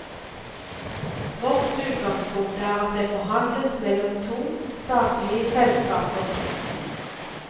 Vårt utgangspunkt er at det forhandles mellom to statlige selskaper.